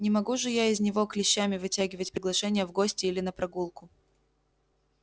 не могу же я из него клещами вытягивать приглашение в гости или на прогулку